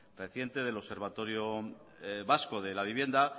reciente del observatorio vasco de la vivienda